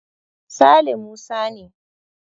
Sale Musa ne.